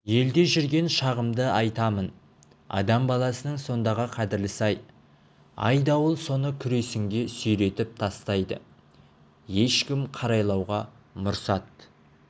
елде жүрген шағымды айтамын адам баласының сондағы қадірлісі-ай айдауыл оны күресінге сүйретіп тастайды ешкім қарайлауға мұрсат